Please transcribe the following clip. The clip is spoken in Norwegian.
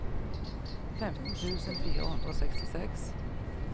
femten tusen fire hundre og sekstiseks